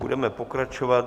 Budeme pokračovat.